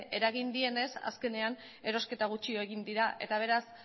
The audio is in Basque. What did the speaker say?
eragin dienez azkenean erosketa gutxiago egin dira eta beraz